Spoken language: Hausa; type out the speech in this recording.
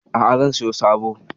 A'a, zan siyo sabo.